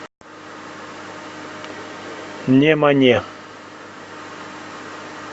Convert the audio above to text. немане